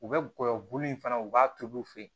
U bɛ gɔyɔ bulu in fana u b'a tobi fe yen